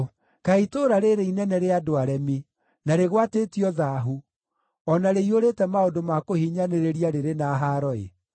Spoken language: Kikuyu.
Kaĩ itũũra rĩĩrĩ inene rĩa andũ aremi, na rĩgwatĩtio thaahu, o na rĩiyũrĩte maũndũ ma kũhinyanĩrĩria rĩrĩ na haaro-ĩ!